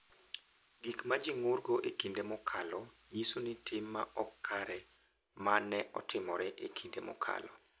Gik ma ji ng’urgo e kinde mokalo nyiso ni tim ma ok kare ma ne otimore e kinde mokalo,